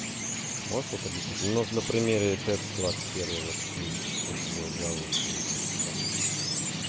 можешь вот объясните ну вот на примере тэц-двадцать первой вот люди частенько будят жалуются на то что там